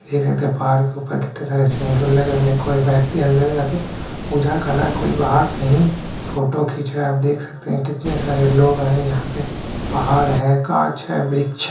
देख सकते है पहाड़ के ऊपर कितने सारे सिंदूर लगे हुए है कोई व्यक्ति अंदर जाके पूजा कर रहा है कोई बाहर से ही फोटो खींच रहा है आप देख सकते है कितने सारे लोग आए यहाँ पे पहाड़ है काँच है वृक्ष ह --